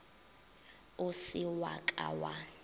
o se wa ka wa